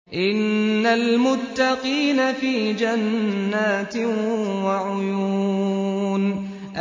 إِنَّ الْمُتَّقِينَ فِي جَنَّاتٍ وَعُيُونٍ